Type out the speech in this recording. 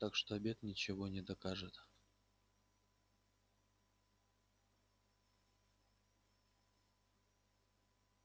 так что обед ничего не докажет